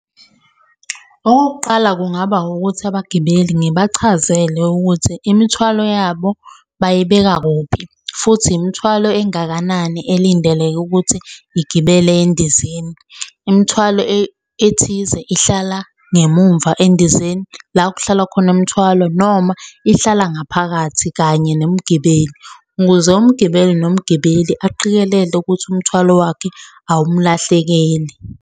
Okokuqala kungaba ukuthi abagibeli ngibachazele ukuthi imithwalo yabo bayibeka kuphi, futhi imithwalo engakanani elindeleke ukuthi igibele endizeni. Imithwalo ethize ihlala ngemumva endizeni, la okuhlala khona imithwalo noma ihlala ngaphakathi kanye nomgibeli, ukuze umgibeli nomgibeli aqikelele ukuthi umthwalo wakhe awumlahlekeli.